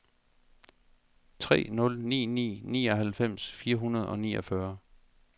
tre nul ni ni nioghalvfems fire hundrede og niogfyrre